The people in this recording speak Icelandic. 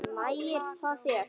Nægir það þér?